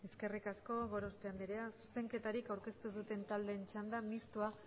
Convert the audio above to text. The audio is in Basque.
eskerrik asko gorospe andrea zuzenketarik aurkeztu ez duten taldeen txanda mistoa